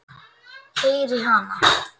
Heyri hana.